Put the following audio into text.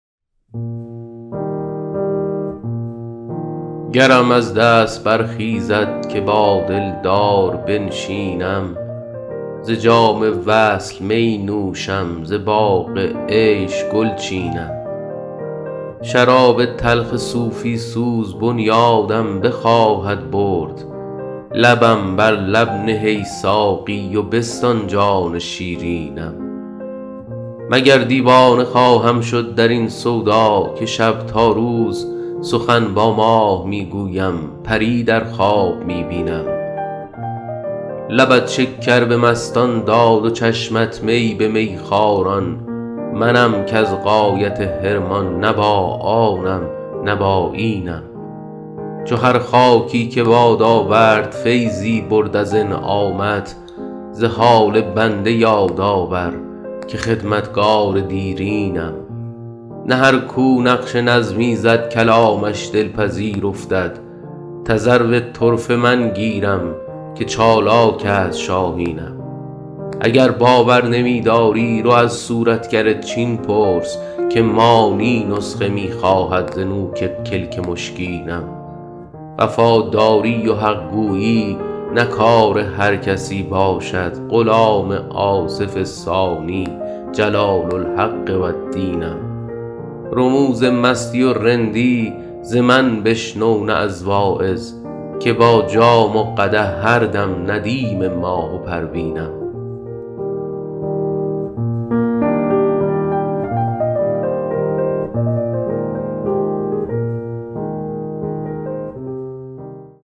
گرم از دست برخیزد که با دلدار بنشینم ز جام وصل می نوشم ز باغ عیش گل چینم شراب تلخ صوفی سوز بنیادم بخواهد برد لبم بر لب نه ای ساقی و بستان جان شیرینم مگر دیوانه خواهم شد در این سودا که شب تا روز سخن با ماه می گویم پری در خواب می بینم لبت شکر به مستان داد و چشمت می به میخواران منم کز غایت حرمان نه با آنم نه با اینم چو هر خاکی که باد آورد فیضی برد از انعامت ز حال بنده یاد آور که خدمتگار دیرینم نه هر کو نقش نظمی زد کلامش دلپذیر افتد تذرو طرفه من گیرم که چالاک است شاهینم اگر باور نمی داری رو از صورتگر چین پرس که مانی نسخه می خواهد ز نوک کلک مشکینم وفاداری و حق گویی نه کار هر کسی باشد غلام آصف ثانی جلال الحق و الدینم رموز مستی و رندی ز من بشنو نه از واعظ که با جام و قدح هر دم ندیم ماه و پروینم